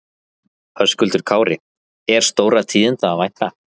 Höskuldur Kári: Er stórra tíðinda að vænta?